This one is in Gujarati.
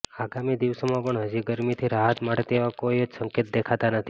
આગામી દિવસોમાં પણ હજી ગરમીથી રાહત મળે તેવા કોઈ જ સંકેત દેખાતા નથી